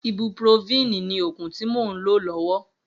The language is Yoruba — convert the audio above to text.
Ibúprófìní ni ógún ti mó n ló lòwò